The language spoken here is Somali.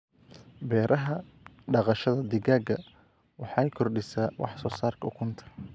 Beeraha Dhaqashada digaaga waxay kordhisaa wax soo saarka ukunta.